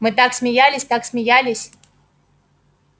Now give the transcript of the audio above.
мы так смеялись так смеялись